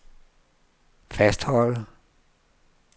fastholde